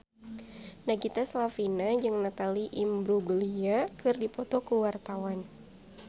Nagita Slavina jeung Natalie Imbruglia keur dipoto ku wartawan